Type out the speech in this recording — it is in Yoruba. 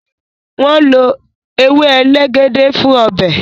wón ló ewe elegede fún Ọbẹ̀